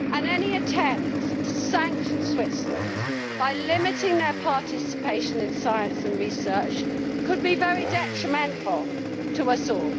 Any attempt to sanction Switzerland, by limiting its participation in science and research, could be very detrimental to us all.